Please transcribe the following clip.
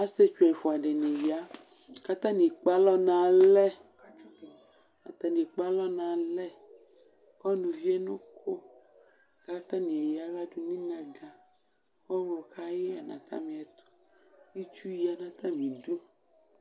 Asietsʋ ɛfʋ diniya kʋ atani ekpe alɔ nʋ alɛ kʋ ɔnʋ vienʋ ʋkʋ kʋ atani aya aɣla dʋnʋ iaga kʋ ɔwlɔ kayɛ nʋ atami ɛtʋ kʋ itsʋ yanʋ atami idʋ